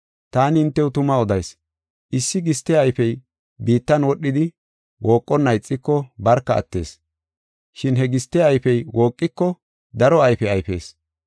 Taani hintew tuma odayis; issi giste ayfey biittan wodhidi wooqonna ixiko barka attees. Shin he giste ayfey wooqiko daro ayfe ayfees.